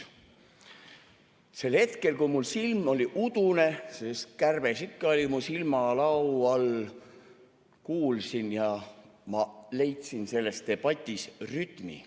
Sel hetkel, kui mul silm oli udune, sest kärbes ikka oli mu silmalau all, ma kuulsin ja leidsin selles debatis rütmi.